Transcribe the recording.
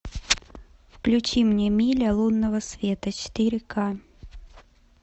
включи мне миля лунного света четыре ка